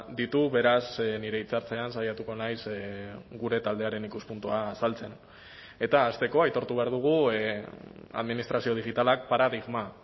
ditu beraz nire hitza hartzean saiatuko naiz gure taldearen ikuspuntua azaltzen eta hasteko aitortu behar dugu administrazio digitalak paradigma